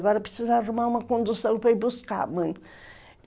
Agora precisa arrumar uma condução para ir buscar a mãe.